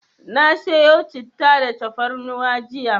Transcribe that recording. Na siyo Citta da tafarnuwa jiya.